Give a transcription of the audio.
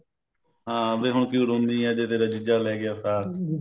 ਹਾਂ ਵੀ ਹੁਣ ਕਿਉਂ ਰੋਂਦੀ ਐ ਜੇ ਤੇਰਾ ਜੀਜਾ ਲੈ ਗਿਆ ਸਾਕ